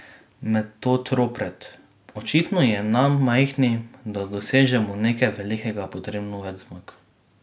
Metod Ropret: 'Očitno je nam, majhnim, da dosežemo nekaj velikega, potrebno več zmag.